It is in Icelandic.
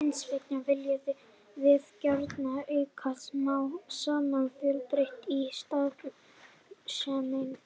Hins vegar viljum við gjarnan auka smám saman fjölbreytnina í starfseminni.